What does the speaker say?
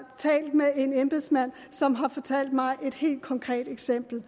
talt med en embedsmand som har fortalt mig om et helt konkret eksempel